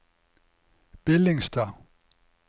Billingstad